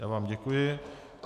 Já vám děkuji.